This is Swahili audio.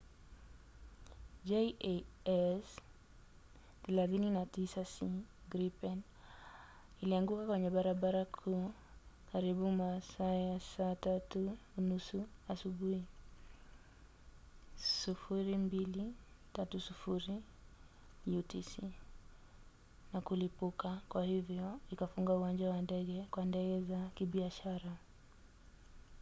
jas 39c gripen ilianguka kwenye barabara kuu karibu masaa ya 9:30 asubuhi 0230 utc na kulipuka kwa hivyo ikafunga uwanja wa ndege kwa ndege za kibiashara